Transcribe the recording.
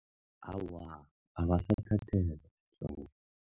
Awa, abasathathelwa ehloko.